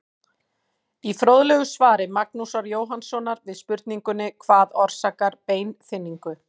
Í fróðlegu svari Magnúsar Jóhannssonar við spurningunni Hvað orsakar beinþynningu?